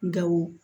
Gawo